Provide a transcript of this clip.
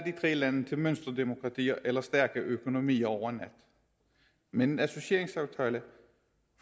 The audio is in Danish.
lande til mønsterdemokratier eller stærke økonomier over en nat med en associeringsaftale